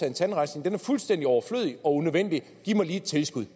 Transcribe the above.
en tandrensning den er fuldstændig overflødig og unødvendig giv mig lige et tilskud